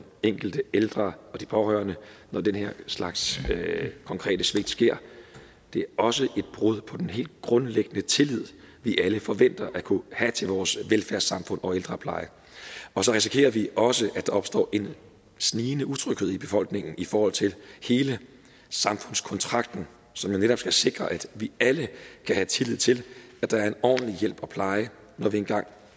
enkelte ældre og de pårørende når den slags konkrete svigt sker det er også et brud på den helt grundlæggende tillid vi alle forventer at kunne have til vores velfærdssamfund og ældrepleje og så risikerer vi også at der opstår en snigende utryghed i befolkningen i forhold til hele samfundskontrakten som jo netop skal sikre at vi alle kan have tillid til at der er en ordentlig hjælp og pleje når vi engang